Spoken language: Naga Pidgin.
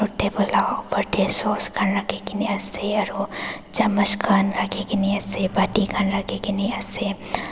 table la opor tae sause khan rakhikae na ase aro chamash khan rakhikaena ase pati khan rakhikaena ase.